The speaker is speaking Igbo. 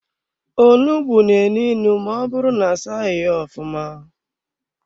Onugbu na-enu inu ma ọbụrụ na-asaghi ya ofụma.